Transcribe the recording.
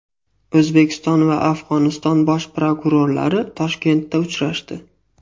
O‘zbekiston va Afg‘oniston bosh prokurorlari Toshkentda uchrashdi.